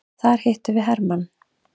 Þar hittum við hermann.